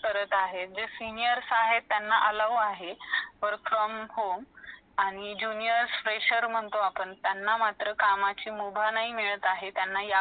करत आहे जे senior हे त्यांना allow आहे work from home आणि juniors , fresher म्हणतो आपण त्यांना फक्त कमाची उभा नाही मिळत आहे त्यांना